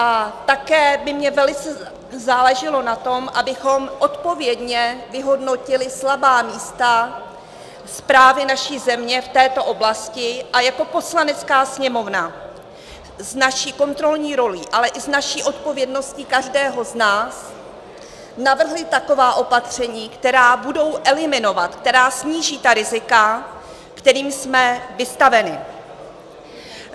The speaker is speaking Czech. A také by mě velice záleželo na tom, abychom odpovědně vyhodnotili slabá místa správy naší země v této oblasti a jako Poslanecká sněmovna s naší kontrolní rolí, ale i s naší odpovědností každého z nás navrhli taková opatření, která budou eliminovat, která sníží ta rizika, kterým jsme vystaveni.